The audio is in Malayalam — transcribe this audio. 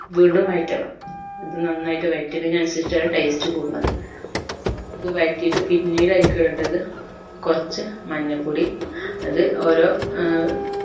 വീണ്ടും വഴറ്റണം ഇത് നന്നായിട്ട് വയറ്റുന്നത്തിന് അനുസരിച്ചിട്ടാണ് taste കൂടുന്നത് ഇത് വയറ്റിട്ട് പിന്നീട് അയിക് ഇടണ്ടത്ത് കൊർച്ച് മഞ്ഞ പൊടി അത് ഓരോ ഏർ